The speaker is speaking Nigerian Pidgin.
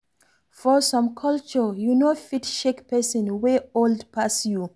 For some culture you no fit shake person wey old pass you